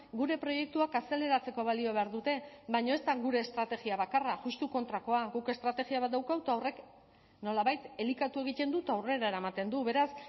gure proiektuak azaleratzeko balio behar dute baina ez da gure estrategia bakarra justu kontrakoa guk estrategia bat daukagu eta horrek nolabait elikatu egiten du eta aurrera eramaten du beraz